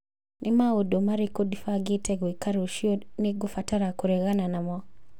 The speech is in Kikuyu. Nĩ maũndũ marĩkũ ndĩbangĩte gwĩka rũciũ nĩ ngũbatara kũregana namo